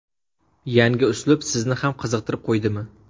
Yangi uslub sizni ham qiziqtirib qo‘ydimi?